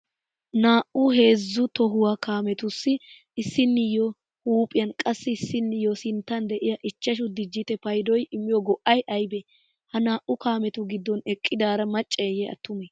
Naa'u heezzu tohuwaa kaamettussi issinniyoo huuphiyan qassi issinniyo sinttan de'iya ichchashu dijitte payddoy immiyo go'ay aybbe? Ha naa'u kaamettu gidon eqqidaara macceyye atume?